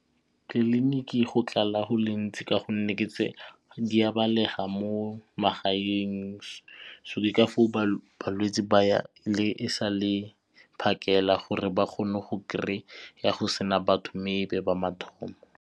Tleliniki go tlala go le gontsi ka gonne di a belega mo magaeng so ke ka foo balwetsi ba ya e sa le phakela gore ba kgone go kry-a go sena batho mme e nne ba mathomo.